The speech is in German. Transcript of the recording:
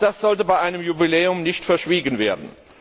ist, sollte bei einem Jubiläum nicht verschwiegen werden.